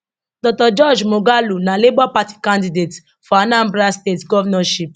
dr george moghalu na labour party candidate for anambra state govnornship